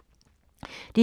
DR2